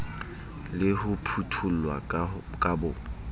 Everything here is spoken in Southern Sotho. le ho phuthollwa ka bo